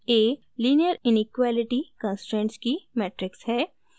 a : linear inequality constraints की matrix है